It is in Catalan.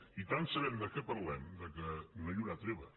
i tant sabem de què parlem que no hi haurà treva